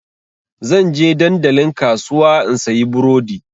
Zan je dandalin kasuwa in sayi burodi.